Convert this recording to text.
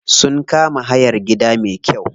Sun kama hayan gida me kyau.